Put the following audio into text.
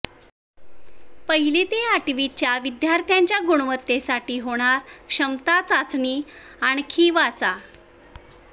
पहिली ते आठवीच्या विद्यार्थ्यांच्या गुणवत्तेसाठी होणार क्षमता चाचणी आणखी वाचा